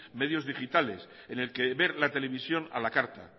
medios digitales en el que ver la televisión a la carta